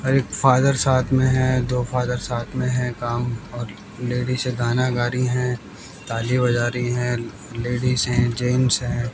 और एक फादर साथ में है दो फादर साथ में है काम और लेडीसे गाना गा रही है ताली बजा रही है लेडिस हैं जेंट्स हैं--